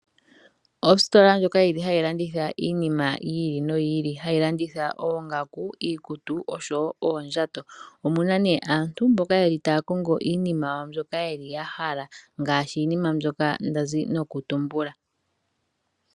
Ositola ndjoka yili hayi landitha iinima yi ili noyi ili, hayi landitha oongaku, iikutu osho wo oondjato. Omuna ne aantu mboka yeli taya kongo iinima yawo mbyoka yeli yahala ngaashi iinima mbyoka ndazi nokutumbula.